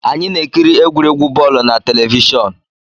Anyị na-ekiri egwuregwu bọọlụ na telivishọn